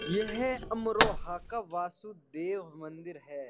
यह अमरोहा का वासुदेव मंदिर है।